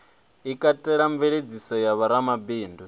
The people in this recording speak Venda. i katelaho mveladziso ya vhoramabindu